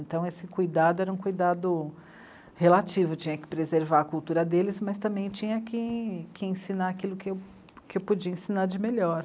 Então esse cuidado era um cuidado relativo, tinha que preservar a cultura deles, mas também tinha que, que ensinar aquilo que eu podia ensinar de melhor.